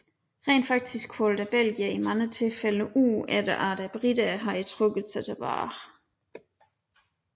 Rent faktisk holdt belgierne i mange tilfælde ud efter at briterne havde trukket sig tilbage